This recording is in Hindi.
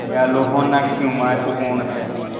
दयालु होना क्यों महत्वपूर्ण है